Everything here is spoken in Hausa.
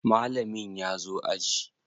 Mallamin ya zo aji?